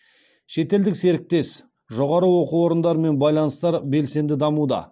шетелдік серіктес жоғары оқу орындарымен байланыстар белсенді дамуда